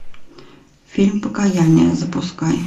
фильм покаяние запускай